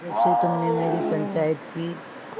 जब से तुमने मेरी पंचायत की